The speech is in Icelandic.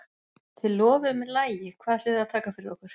Þið lofuðuð mér lagi, hvað ætlið þið að taka fyrir okkur?